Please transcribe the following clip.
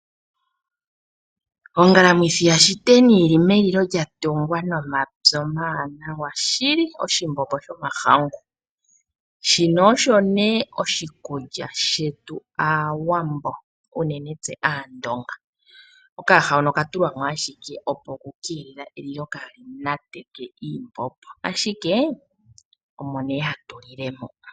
Ongalamwithi yashiteni yili melilo lyatungwa nomapi omawanawa shili, oshimbombo shomahangu . Shino osho ne oshikulya shetu Aawambo uunene tuu tse Aandonga. Okayaha hono oka tulwa mo ashike opo okukeelela elilo kaali nateke kiimbombo , ashike omo ne hatu lile moka.